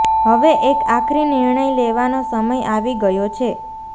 હવે એક આખરી નિર્ણય લેવાનો સમય આવી ગયો છે